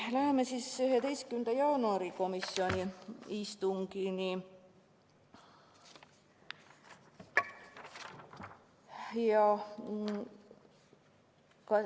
Läheme 11. jaanuari istungi juurde.